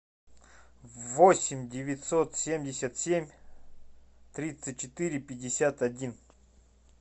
восемь девятьсот семьдесят семь тридцать четыре пятьдесят один